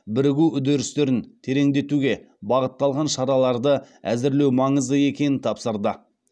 бірігу үдерістерін тереңдетуге бағытталған шараларды әзірлеу маңызды екенін тапсырды